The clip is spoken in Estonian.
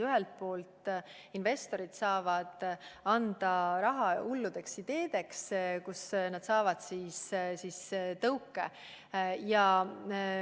Ühelt poolt investorid saavad anda raha hullude ideede elluviimiseks, saavad tõuke anda.